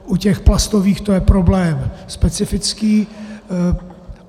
U těch plastových to je problém specifický.